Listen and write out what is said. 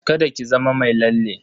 Kada ki zama mai lalle.